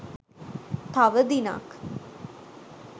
තව දිනක්